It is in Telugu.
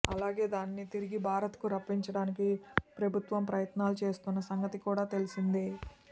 అలాగే దానిని తిరిగి భారత్ కు రప్పించడానికి ప్రభుత్వం ప్రయత్నాలు చేస్తున్న సంగతి కూడా తెలిసిందే